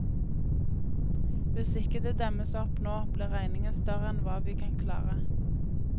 Hvis ikke det demmes opp nå, blir regningen større enn hva vi kan klare.